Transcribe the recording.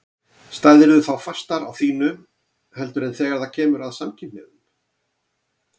Stæðirðu þá fastar á þínu heldur en þegar það kemur að samkynhneigðum?